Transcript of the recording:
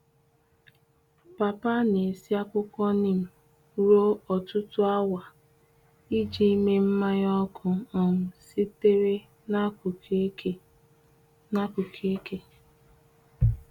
Papa na- esi akwukwo nim ruo ọtụtụ awa iji mee mmanya ọkụ um sitere n’akụkụ eke. n’akụkụ eke.